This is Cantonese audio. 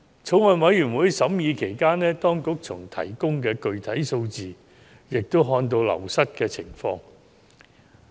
法案委員會審議期間，從當局提供的具體數字也看到人手流失的情況。